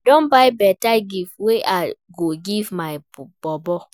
I don buy beta gift wey I go give my bobo.